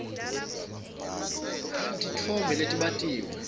titfombe letbatiwe